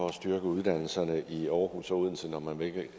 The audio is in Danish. at styrke uddannelserne i aarhus og odense når man ikke